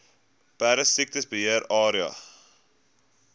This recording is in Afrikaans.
perdesiekte beheer area